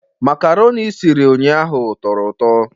Makaroni i siri ụnyahụ tọrọ ụtọ